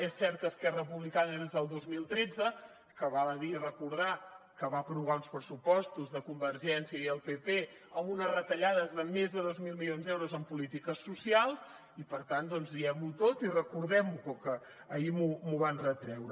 és cert que d’esquerra republicana des del dos mil tretze que val a dir i recordar que va aprovar uns pressupostos de convergència i el pp amb unes retallades de més de dos mil milions d’euros en polítiques social i per tant doncs diguem ho tot i recordem ho com que ahir m’ho van retreure